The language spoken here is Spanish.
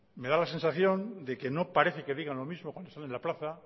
me da la sensación de que no parece de que digan lo mismo cuando salen de la plaza